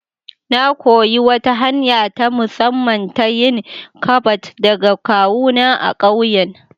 Na koyi wata hanya ta musamman ta yin ƙabad daga kawuna a ƙauyen.